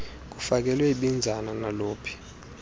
kufakelwe ibinzana naluphi